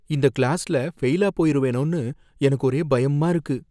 இந்த கிளாஸ்ல ஃபெயிலா போயிருவேனோன்னு எனக்கு ஒரே பயமா இருக்கு.